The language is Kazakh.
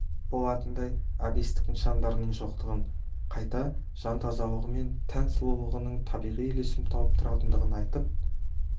болатындай әбестік нышандарының жоқтығын қайта жан тазалығы мен тән сұлулығының табиғи үйлесім тауып тұратындығын айтып